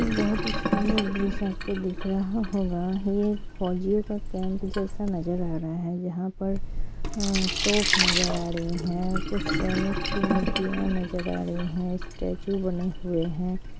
बहुत ही सुंदर दृश्य आपको दिख रहा होगा यह एक फौजियों के कैंप जैसा लग रहा है यहां पर तोफ नजर आ रहा है कुछ सैनिक की मूर्तियां नजर आ रही है स्टेचू बनी हुई है ।